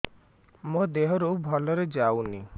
ମୋ ଦିହରୁ ଭଲରେ ଯାଉନି